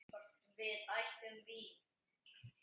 Hvort við ættum vín?